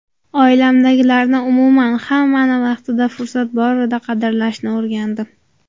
Oilamdagilarni, umuman, hammani vaqtida, fursat borida qadrlashni o‘rgandim.